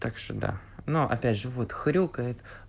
так что да но опять же вот хрюкает